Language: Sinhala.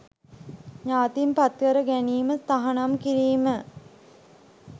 ඥාතීන් පත්කර ගැනීම තහනම් කිරීම.